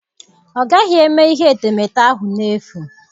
Ọ gaghị eme ihe etemeete ahụ n'efu.